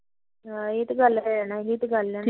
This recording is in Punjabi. ਹਾਂ ਇਹ ਤਾਂ ਗੱਲ ਐ ਇਹ ਤਾ ਗੱਲ